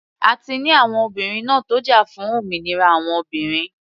A ti ní àwọn obìnrin ńá tó jà fún òmìnira àwọn obìnrin.